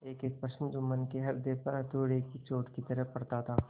एकएक प्रश्न जुम्मन के हृदय पर हथौड़े की चोट की तरह पड़ता था